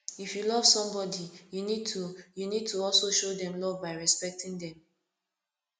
if you love somebodi you need to you need to also show dem love by respecting dem